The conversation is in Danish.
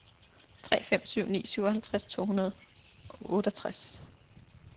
tre fem syv ni syvoghalvtreds to hundrede og otteogtres